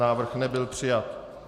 Návrh nebyl přijat.